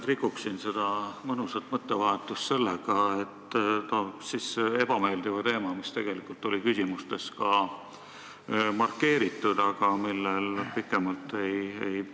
Ma rikun nüüd seda mõnusat mõttevahetust sellega, et toon sisse ühe ebameeldiva teema, mis oli ka küsimustes markeeritud, aga millel pikemalt ei peatutud.